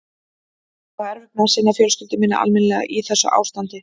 Ég á erfitt með að sinna fjölskyldu minni almennilega í þessu ástandi.